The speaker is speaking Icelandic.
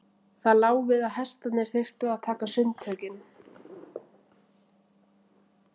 Það lá við að hestarnir þyrftu að taka sundtökin.